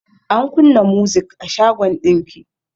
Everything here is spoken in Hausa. An kunna muzik a shagon ɗinki.